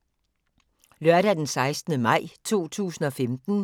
Lørdag d. 16. maj 2015